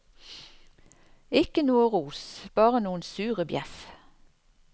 Ikke noe ros, bare noen sure bjeff.